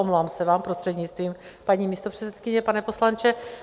Omlouvám se vám, prostřednictvím paní místopředsedkyně, pane poslanče.